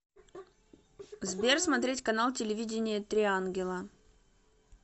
сбер смотреть канал телевидения три ангела